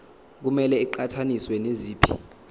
kumele iqhathaniswe naziphi